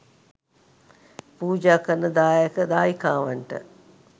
පූජා කරන දායක දායිකාවන්ට